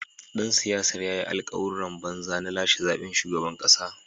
Dan siyasar ya yi alkawuran banza na lashe zaben shugaban kasa.